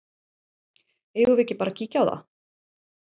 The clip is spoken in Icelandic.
Eigum við ekki bara að kíkja á það?